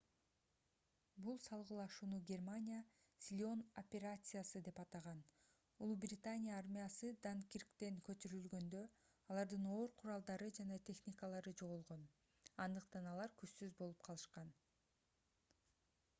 бул салгылашууну германия силион операциясы деп атаган улуу британия армиясы данкирктен көчүрүлгөндө алардын оор куралдары жана техникалары жоголгон андыктан алар күчсүз болуп калышкан